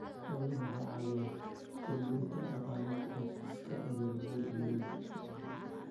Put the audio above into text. Xooluhu waxay caawiyaan kordhinta dakhliga qoysaska beeralayda miyiga ah.